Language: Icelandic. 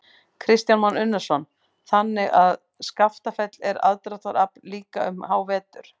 Kristján Már Unnarsson: Þannig að Skaftafell er aðdráttarafl líka um hávetur?